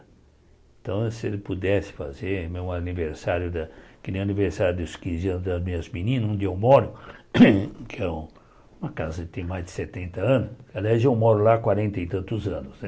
Então, se ela pudesse fazer, meu aniversário, da que nem o aniversário dos quinze anos das minhas meninas, onde eu moro, que é uma casa que tem mais de setenta anos, aliás, eu moro lá há quarenta e tantos anos, né?